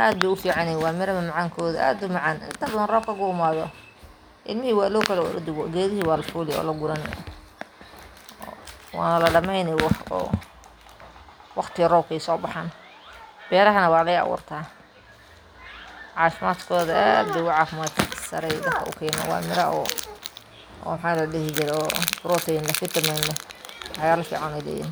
Aad bay u fiican yihiin. Waa miro macaan, macnaheeduna waa “aad u macaan.” Inta badan marka roobku yimaado, ilmihii waa loo kala ordayaa. Geedihii waa la fulayaa, waa la guranayaa, waqti yar ayayna ku soo baxaan. Beerahana waa laga abuurtaa. Caafimaadkooduna aad buu u sarreeyaa. Waa miro protein , vitamin leh, iyo waxyaalo fiican leh.